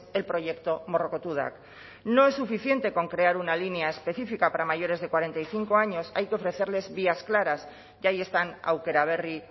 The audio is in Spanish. el proyecto morrokotudak no es suficiente con crear una línea específica para mayores de cuarenta y cinco años hay que ofrecerles vías claras y ahí están aukera berri